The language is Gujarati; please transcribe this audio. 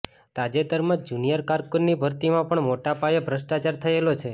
તાજેતરમાં જુનિયર કારકુનની ભરતીમાં પણ મોટાપાયે ભ્રષ્ટાચાર થયેલો છે